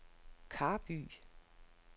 Karby